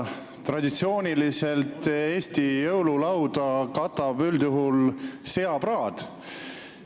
Traditsiooniliselt katab Eestis jõululauda üldjuhul seapraad.